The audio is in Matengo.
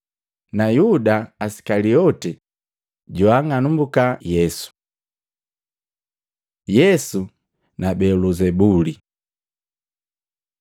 Na Yuda Isikaliote, joang'anumbuka Yesu. Yesu na Beluzebuli Matei 12:22-32; Luka 11:14-23; 12:10